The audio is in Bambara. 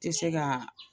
Tɛ se ka